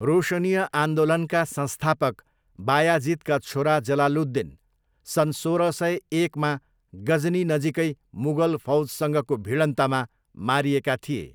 रोशनीय आन्दोलनका संस्थापक बायाजिदका छोरा जलालुद्दिन सन् सोह्र सय एकमा गजनी नजिकै मुगल फौजसँगको भिडन्तमा मारिएका थिए।